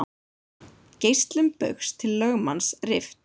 Greiðslum Baugs til lögmanns rift